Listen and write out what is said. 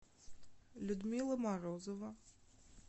людмила морозова